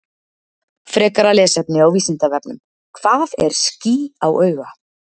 Frekara lesefni á Vísindavefnum: Hvað er ský á auga?